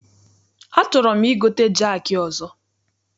Achọrọ m igote jaakị ọzọ.